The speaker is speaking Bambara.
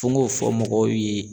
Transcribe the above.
Fo n k'o fɔ mɔgɔw ye.